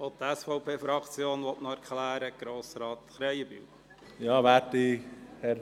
Auch die SVP-Fraktion möchte noch eine Erklärung abgeben.